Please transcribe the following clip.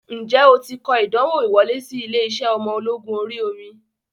Ǹjẹ́ o ti kọ ìdánwò ìwọlé sí ilé-iṣẹ́ ọmọ ológun orí omi?